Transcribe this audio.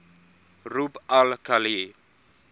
rub al khali